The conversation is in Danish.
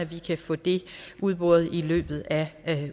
vi kan få det udboret i løbet af